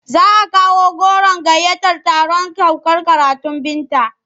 Za a kawo goron gayyatar taron saukar karatun Binta.